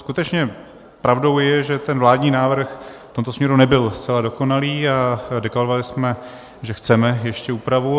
Skutečně pravdou je, že ten vládní návrh v tomto směru nebyl zcela dokonalý, a deklarovali jsme, že chceme ještě úpravu.